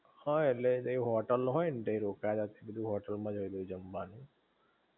હા ઍટલે એ તો હોટેલ ન હોય ને તય રોકાયા તા તય હોટલ માં જ હોય છ જમવાનુ